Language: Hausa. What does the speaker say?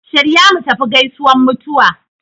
Shirya mutafi gaisuwan mutuwa